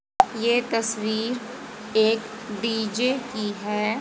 ये तस्वीर एक डी_जे की है।